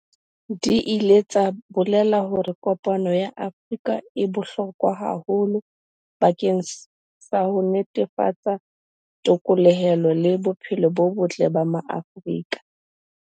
Di ile tsa bolela hore kopano ya Afrika e bohlokwa haholo bakeng sa ho netefatsa the kolohelo le bophelo bo botle ba Maafrika.